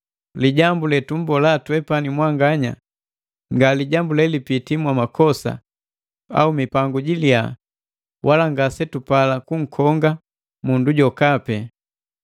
Lijambu letumbola twepani mwanganya nga lijambu lelipiti mwamakosa au mipangu jilia wala ngasetupala kunkonga mundu jokapi.